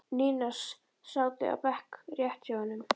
Nína sátu á bekk rétt hjá honum.